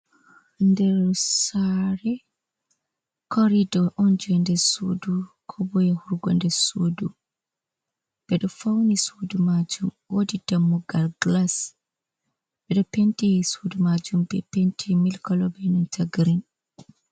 Nder sare. korido on je nder sudu, kobo yahugo nder sudu. Ɓeɗo fawni sudu majum, wodi dammugal gilas, ɓeɗo penti sudu majum be penti mili colo be nanta girin.